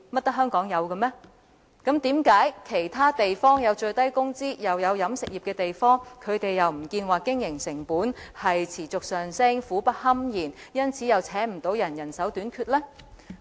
為甚麼其他設有最低工資又有飲食業的地方，沒有表示他們的經營成本持續上升，苦不堪言，因為難請人而人手短缺呢？